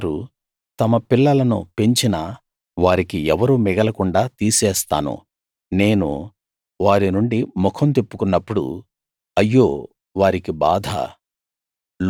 వారు తమ పిల్లలను పెంచినా వారికి ఎవరూ మిగల కుండా తీసేస్తాను నేను వారి నుండి ముఖం తిప్పుకున్నప్పుడు అయ్యో వారికి బాధ